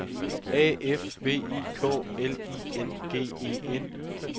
A F V I K L I N G E N